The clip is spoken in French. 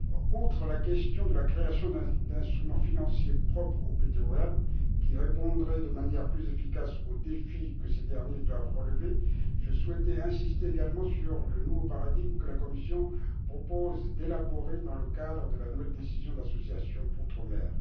Outre la question de la création d'instruments financiers propres aux PTOM, qui répondraient de manière plus efficace aux défis que ces derniers doivent relever, je souhaitais insister également sur le nouveau paradigme que la Commission propose d'élaborer dans le cadre de la nouvelle décision d'association outre mer.